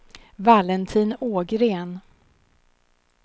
Valentin Ågren